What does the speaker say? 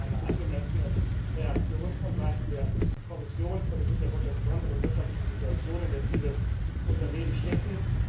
Ich denke, das ist eine angemessene Reaktion von Seiten der Kommission vor dem Hintergrund der besonderen wirtschaftlichen Situation, in der viele Unternehmen stecken.